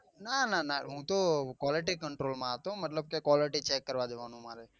ના ના ના હું તો quality control માં હતો મતલબ કે quality check જવા નું મારે